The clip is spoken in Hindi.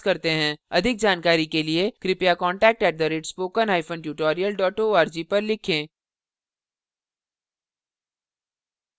अधिक जानकारी के लिए कृपया contact at spoken hyphen tutorial dot org पर लिखें